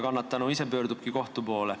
Kannatanu ise pöördubki siis kohtu poole.